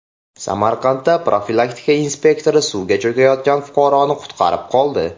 Samarqandda profilaktika inspektori suvga cho‘kayotgan fuqaroni qutqarib qoldi.